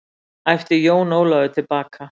æpti Jón Ólafur til baka.